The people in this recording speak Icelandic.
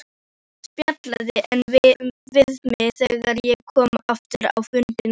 Hann spjallaði við mig þegar ég kom á fundina.